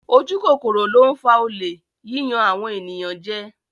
Ojú kòkòrò ló ń fa olè, yíyan àwọn ènìyàn jẹ.